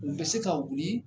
U bɛ se ka wuli